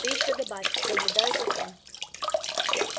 ты ещё добавь соблюдаю закон